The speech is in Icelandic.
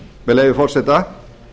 með leyfi forseta